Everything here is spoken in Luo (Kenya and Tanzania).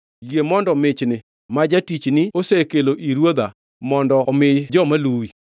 Yie mondo michni, ma jatichni osekelo ni ruodha, mondo omi joma luwi.